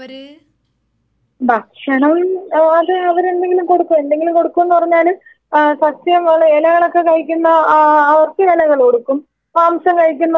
ഭക്ഷണം ഏ അത് അവരെന്തെങ്കിലും കൊടുക്കും എന്തെങ്കിലും കൊടുക്കുംന്ന് പറഞ്ഞാല് ആ സസ്യങ്ങള് എലകളൊക്കെ കഴിക്കുന്ന ആ അവർക്ക്‌ ഇലകള് കൊടുക്കും മാംസം കഴിക്കണ്ടോർക്ക് മാംസം കൊടുക്കും